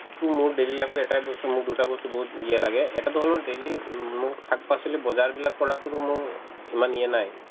তো মোৰ daily life ত এটায়ে বস্তু মোক দুটা বস্তু বহুত এলাহ লাগে এটাতো হ'ল মোৰ daily উম মোক শাক-পাচলি বজাৰবিলাক কৰাতোতো মোৰ ইমান ইয়ে নাই